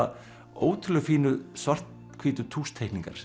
ótrúlega fínu svarthvítu